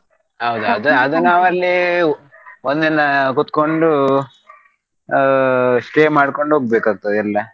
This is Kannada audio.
ಹೌದು ಒಂದಿನಾ ಕೂತ್ಗೊಂಡು ಆ stay ಮಾಡ್ಕೊಂಡು ಹೋಗ್ಬೇಕಾಗ್ತದೆಲ್ಲ.